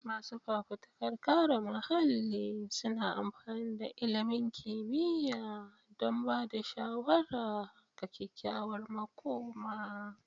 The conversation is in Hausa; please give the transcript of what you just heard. Masu fafutukar kare muhalli suna amfani da ilimin kimiyya don ba da shawara ga kyakkyawar makoma.